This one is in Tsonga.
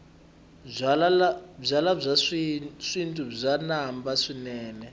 byalwa bya xintu bya namba swinene